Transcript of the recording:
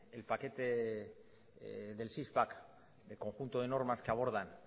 el paquete del six pack el conjunto de normas que abordan